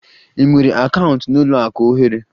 I nwere akaụntụ n'ụlọ akụ ohere?